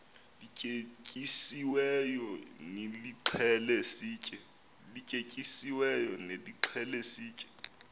lityetyisiweyo nilixhele sitye